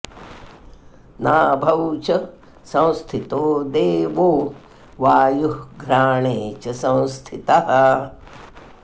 नाभौ च संस्थितो देवो वायुः घ्राणे च संस्थितः